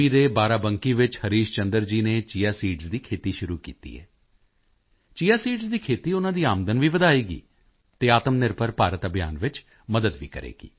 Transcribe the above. ਦੇ ਬਾਰਾਬੰਕੀ ਵਿੱਚ ਹਰੀਸ਼ ਚੰਦਰ ਜੀ ਨੇ ਚਿਆ ਸੀਡਜ਼ ਦੀ ਖੇਤੀ ਸ਼ੁਰੂ ਕੀਤੀ ਹੈ ਚਿਆ ਸੀਡਜ਼ ਦੀ ਖੇਤੀ ਉਨ੍ਹਾਂ ਦੀ ਆਮਦਨ ਵੀ ਵਧਾਏਗੀ ਅਤੇ ਆਤਮਨਿਰਭਰ ਭਾਰਤ ਅਭਿਯਾਨ ਵਿੱਚ ਵੀ ਮਦਦ ਕਰੇਗੀ